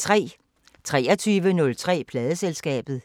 23:03: Pladeselskabet